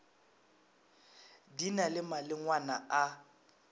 di na le malengwana a